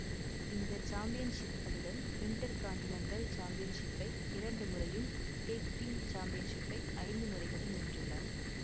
இந்த சாம்பியன்ஷிப்களுடன் இன்டர்கான்டினன்டல் சாம்பியன்ஷிப்பை இரண்டு முறையும் டேக் டீம் சாம்பியன்ஷிப்பை ஐந்து முறைகளும் வென்றுள்ளார்